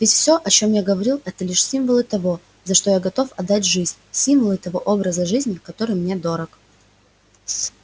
ведь все о чем я говорил это лишь символы того за что я готов отдать жизнь символы того образа жизни который мне дорог